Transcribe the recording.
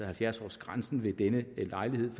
halvfjerds års grænsen ved denne lejlighed